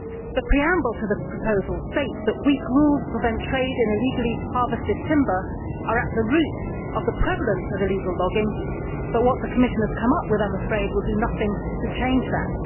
The preamble to the proposal states that weak rules to prevent trade in illegally harvested timber' are at the root of the prevalence of illegal logging, but what the Commission has come up with, I am afraid, will do nothing to change that.